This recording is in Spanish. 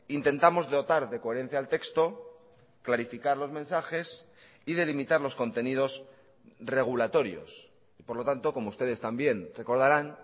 intentamos dotar de coherencia al texto clarificar los mensajes y delimitar los contenidos regulatorios y por lo tanto como ustedes también recordarán